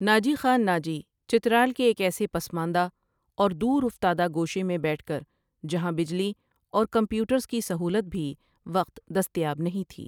ناجی خان ناجی چترال کے ایک ایسے پسماندہ اور دورافتادہ گوشے میں بیٹھ کر جہان بجلی اور کمپیوٹرز کی سہولت بھی وقت دستیاس اب نہیں تھی ۔